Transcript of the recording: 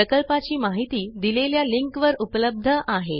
प्रकल्पाची माहिती दिलेल्या लिंकवर उपलब्ध आहे